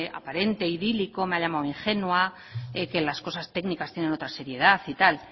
aparente idílico me ha llamado ingenua que las cosas técnicas tiene otra seriedad y tal